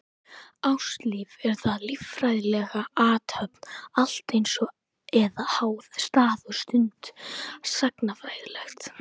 Ástalíf, er það líffræðileg athöfn alltaf eins, eða háð stað og stund, sagnfræðilegt?